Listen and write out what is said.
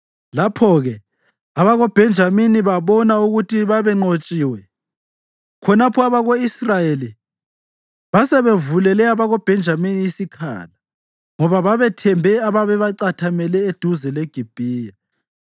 Lapho-ke abakoBhenjamini babona ukuthi babenqotshiwe. Khonapho abako-Israyeli basebevulele abakoBhenjamini isikhala, ngoba babethembe ababecatheme eduze leGibhiya.